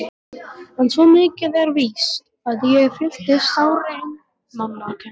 En svo mikið er víst að ég fylltist sárri einmanakennd.